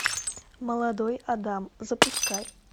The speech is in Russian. молодой адам запускай